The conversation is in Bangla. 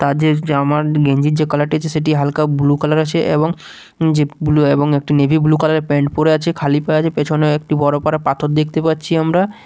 তাদের জামার গেঞ্জির যে কালার -টি আছে সেটি হালকা ব্লু কালার আছে এবং যে ব্লু এবং একটি নেভি ব্লু কালার -এর প্যান্ট পরে আছে খালি পায়ে আছে পেছনেও একটি বড়ো পাড়া পাথর দেখতে পাচ্ছি আমরা।